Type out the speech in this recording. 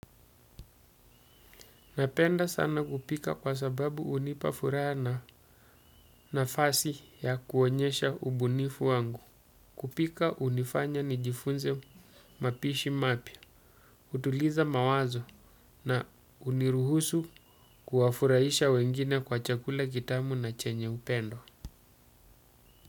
Napenda sana kupika kwa sababu hunipa furaha na nafasi ya kuonyesha ubunifu wangu. Kupika hunifanya nijifunze mapishi mapya. Hutuliza mawazo na huniruhusu kuwafurahisha wengine kwa chakula kitamu na chenye upendo.